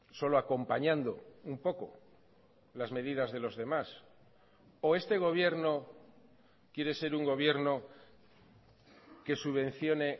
solo acompañando un poco las medidas de los demás o este gobierno quiere ser un gobierno que subvencione